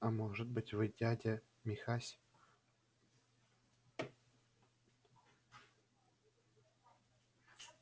а может быть вы дядя михась